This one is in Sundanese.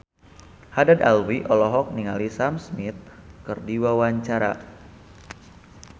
Haddad Alwi olohok ningali Sam Smith keur diwawancara